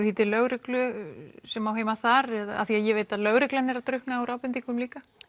því til lögreglunnar sem á heima þar því ég veit að lögreglan er að drukkna í ábendingum líka